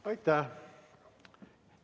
Aitäh!